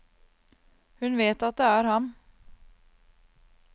Hun vet at det er ham.